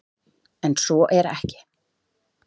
En svo er ekki.